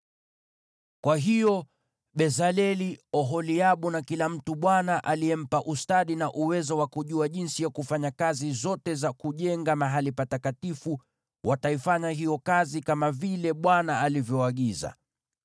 Kwa hiyo Bezaleli, Oholiabu na kila mtu Bwana aliyempa ustadi na uwezo wa kujua jinsi ya kufanya kazi zote za kujenga mahali patakatifu wataifanya hiyo kazi kama vile Bwana alivyoagiza.”